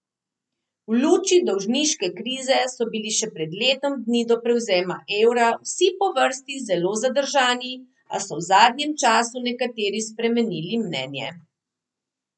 V luči dolžniške krize so bili še pred letom dni do prevzema evra vsi po vrsti zelo zadržani, a so v zadnjem času nekateri spremenili mnenje.